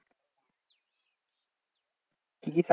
কি কি